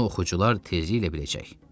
Bunu oxucular tezliklə biləcək.